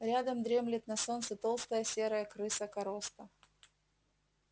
рядом дремлет на солнце толстая серая крыса короста